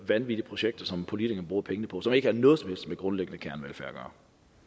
vanvittige projekter som politikerne bruger pengene på der ikke har noget som helst med grundlæggende kernevelfærd at gøre